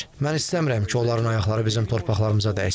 Mən istəmirəm ki, onların ayaqları bizim torpaqlarımıza dəysin.